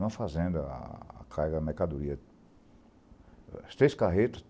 Em uma fazenda, a carga, a mercadoria, as três carretas